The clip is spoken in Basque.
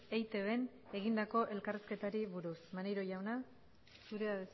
eitbn egindako elkarrizketari buruz maneiro jauna zurea